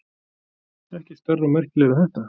Ekkert stærri og merkilegri en þetta.